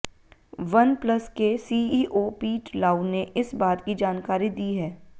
OnePlus के CEO Pete Lau ने इस बात की जानकारी दी है